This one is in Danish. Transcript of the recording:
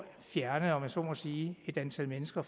fjerne om jeg så må sige et antal mennesker